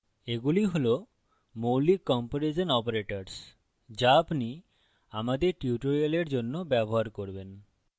এগুলি হল মৌলিক কম্পেরিজন operators যা আপনি আমাদের tutorials জন্য ব্যবহার করবেন